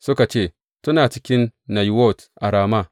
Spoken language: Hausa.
Suka ce, Suna cikin Nayiwot a Rama.